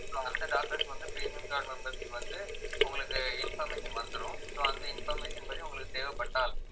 அந்த doctors வந்து premium card members க்கு வந்து உங்களுக்கு information வந்துரும் so அந்த information படி உங்களுக்கு தேவைப்பட்டால்